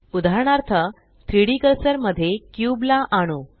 उदाहरणार्थ 3डी कर्सर मध्ये क्यूब ला आणू